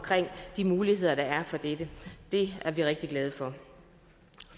de muligheder der er for dette det er vi rigtig glade for